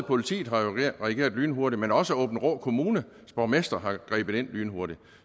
politiet har reageret lynhurtigt men også aabenraa kommunes borgmester har grebet ind lynhurtigt